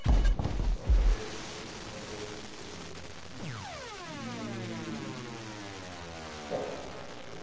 Então você vê que crescimento houve nesse período, né. Uhum. E, bom